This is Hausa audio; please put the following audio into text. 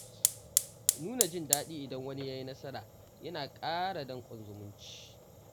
Nuna jin daɗi idan wani ya yi nasara yana ƙara danƙon zumunci